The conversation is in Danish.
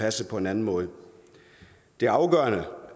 passet på en anden måde det afgørende